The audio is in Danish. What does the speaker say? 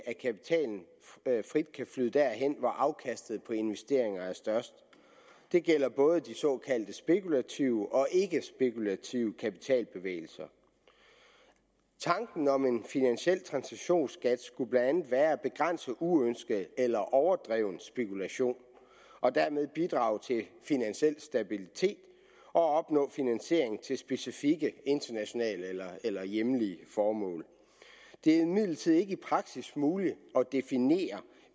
at kapitalen frit kan flyde derhen hvor afkastet på investeringer er størst det gælder både de såkaldt spekulative og de ikkespekulative kapitalbevægelser tanken om en finansiel transaktions skat skulle blandt andet være at begrænse uønsket eller overdreven spekulation og dermed bidrage til finansiel stabilitet og opnå finansiering til specifikke internationale eller hjemlige formål det er imidlertid ikke i praksis muligt at definere